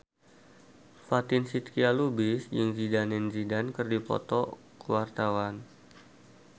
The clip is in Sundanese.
Fatin Shidqia Lubis jeung Zidane Zidane keur dipoto ku wartawan